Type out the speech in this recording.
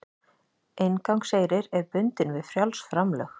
Inngangseyrir er bundinn við frjáls framlög